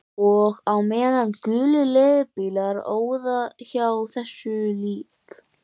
Og á meðan gulir leigubílar óðu hjá þessu lík